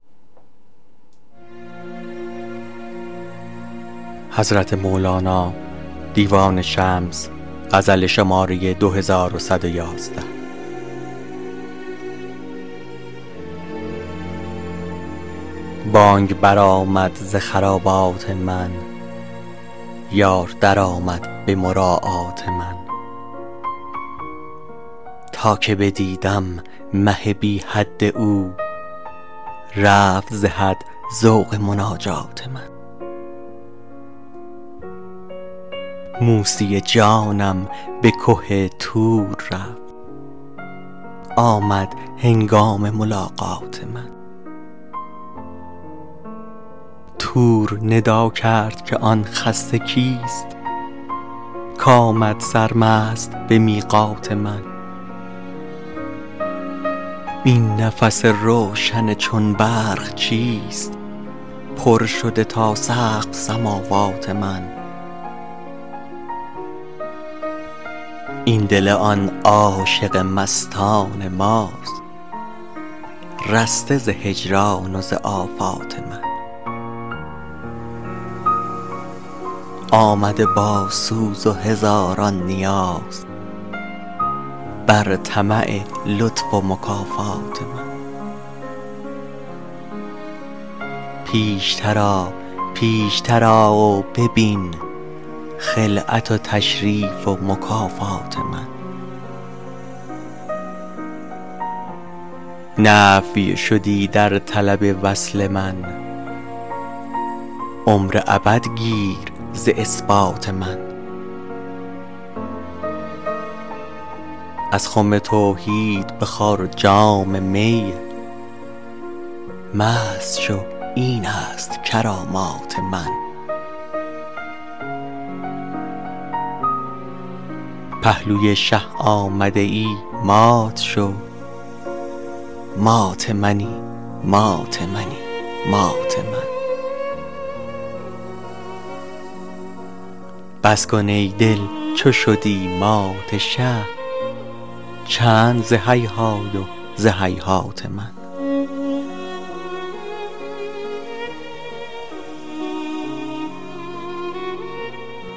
بانگ برآمد ز خرابات من یار درآمد به مراعات من تا که بدیدم مه بی حد او رفت ز حد ذوق مناجات من موسی جانم به که طور رفت آمد هنگام ملاقات من طور ندا کرد که آن خسته کیست کآمد سرمست به میقات من این نفس روشن چون برق چیست پر شده تا سقف سماوات من این دل آن عاشق مستان ماست رسته ز هجران و ز آفات من آمده با سوز و هزاران نیاز بر طمع لطف و مکافات من پیشتر آ پیشتر آ و ببین خلعت و تشریف و مکافات من نفی شدی در طلب وصل من عمر ابد گیر ز اثبات من از خم توحید بخور جام می مست شو این است کرامات من پهلوی شه آمده ای مات شو مات منی مات منی مات من بس کن ای دل چو شدی مات شه چند ز هیهای و ز هیهات من